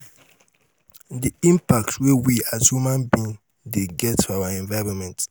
di impact wey we as human being dey get for our environment